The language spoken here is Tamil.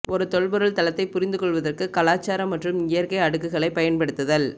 ஒரு தொல்பொருள் தளத்தைப் புரிந்து கொள்வதற்கு கலாச்சார மற்றும் இயற்கை அடுக்குகளைப் பயன்படுத்துதல்